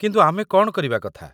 କିନ୍ତୁ, ଆମେ କ'ଣ କରିବା କଥା?